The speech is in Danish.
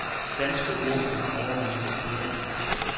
Danske ordblinde overvejer nu at køre en retssag.